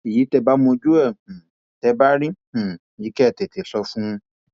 ẹyin tẹ ẹ bá mojú ẹ um tẹ ẹ bá rí um i kẹ ẹ tètè sọ fún un